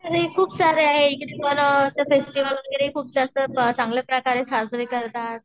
खूप सारे आहे इकडेपण फेस्टिव्हल वगैरे खूप जास्त चांगलं प्रकारे साजरा करतात.